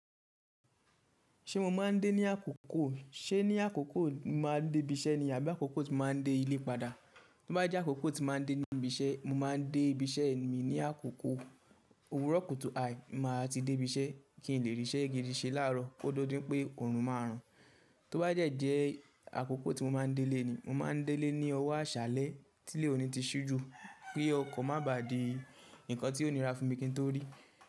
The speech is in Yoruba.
Ṣé mo máa ń dé ní àkókò, ṣé ní àkókò mo máa ń dé ibi iṣẹ́ ni àbí àkókò tí mo máa ń dé ilé padà? Tí ó bá jẹ́ àkókò tí mo máa ń dé ní ibi iṣẹ́, mo máa ń dé ibi iṣẹ́ mi ní àkókò òwúrọ̀ kùtù hà, màá ti dé ibi iṣẹ́ kí n lè ríṣẹ́ igi diṣẹ́ láàárọ̀ kó dọdún pé Òòrùn máa rùn. Tí ó bá dẹ́ jẹ́ àkókò tí mo máa ń délé ni, mo máa ń délé ní ọwọ́ àṣálẹ́ tí ilé òní ti ṣú ju, kí ọkọ̀ má ba di nǹkan tí òní rà fún mi kí n tó rí.